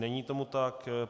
Není tomu tak.